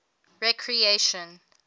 recreation